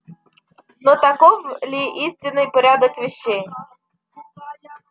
но таков ли истинный порядок вещей